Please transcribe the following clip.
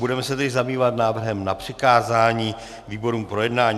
Budeme se tedy zabývat návrhem na přikázání výborům k projednání.